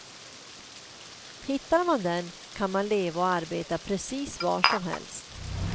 Hittar man den kan man leva och arbeta precis var som helst.